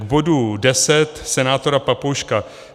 K bodu 10 senátora Papouška.